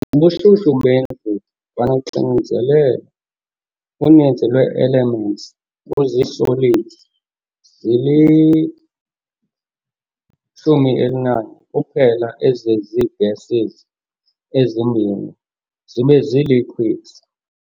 Kubushushu bendlu kwanoxinzelelo, uninzi lwee-elements kuzii-solids, zili-11 kuphela ezizii-gases ezimbini zibe zii-liquids.